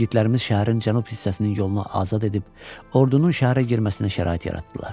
Yiğidlərimiz şəhərin cənub hissəsinin yolunu azad edib ordunun şəhərə girməsinə şərait yaratdılar.